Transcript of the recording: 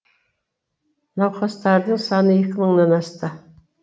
науқастардың саны екі мыңнан асты